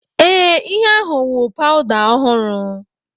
Ee, ihe ahụ wụ powda ọhụrụ.